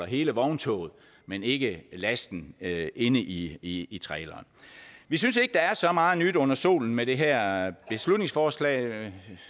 hele vogntoget men ikke lasten inde i i traileren vi synes ikke der er så meget nyt under solen med det her beslutningsforslag og